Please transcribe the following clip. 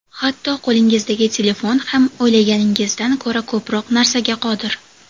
Hatto qo‘lingizdagi telefon ham o‘ylaganingizdan ko‘ra ko‘proq narsaga qodir.